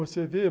Você veio?